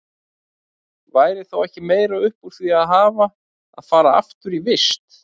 Væri þá ekki meira upp úr því að hafa að fara aftur í vist?